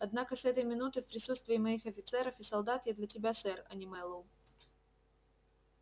однако с этой минуты в присутствии моих офицеров и солдат я для тебя сэр а не мэллоу